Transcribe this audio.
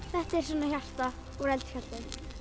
þetta er svona hjarta úr eldfjalli